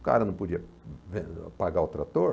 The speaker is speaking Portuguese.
O cara não podia pagar o trator.